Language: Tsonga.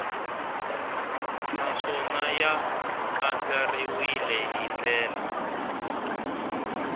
naswona ya andlariwile hi ndlela